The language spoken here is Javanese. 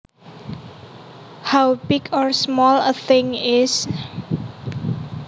How big or small a thing is